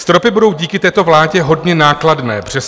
Stropy budou díky této vládě hodně nákladné, přesto...